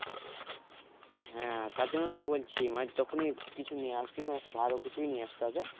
হ্যাঁ তার জন্যই তো বলছি মানে যখনই কিছু নিয়ে আসবি মানে একটু ভালো কিছুই নিয়ে আসতে হবে